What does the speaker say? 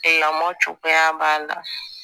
Lamɔ cogoya b'a la